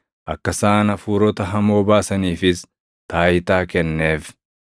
akka isaan hafuurota hamoo baasaniifis taayitaa kenneef.